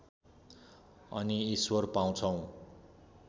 अनि ईश्वर पाउँछौ